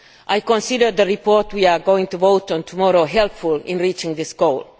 I consider the report we are going to vote on tomorrow helpful in reaching this goal.